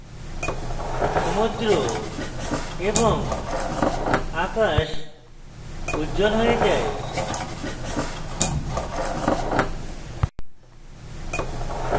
সমুদ্র এবং আকাশ উজ্জ্বল হয়ে যায়